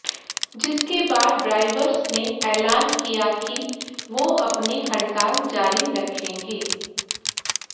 जिसके बाद ड्राइवर्स ने ऐलान किया की वो अपनी हड़ताल जारी रखेंगे